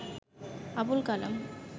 Abul Kalam